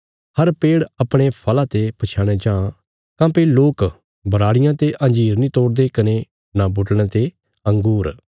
हर पेड़ अपणे फल़ा ते पछयाणया जां काँह्भई लोक बराड़ियां ते अंजीर नीं तोड़दे कने नां बुटड़यां ते अँगूर